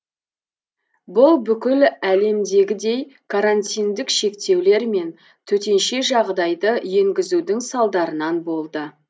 бұл бүкіл әлемдегідей карантиндік шектеулер мен төтенше жағдайды енгізудің салдарынан болды